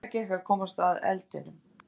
Erfiðlega gekk að komast að eldinum